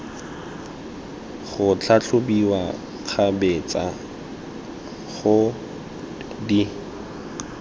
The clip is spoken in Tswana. go tlhatlhobiwa kgabetsa go di